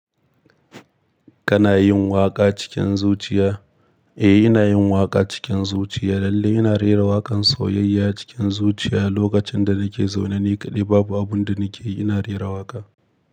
Kana yin waƙa cikin zuciya? Eh, ina yin waƙa cikin zuciya. Lallai ina rera waƙan sauyayya cikin zuciya lokacin da nake zaune ni kaɗai. Babu abun da nikeyi, ina rera waƙa.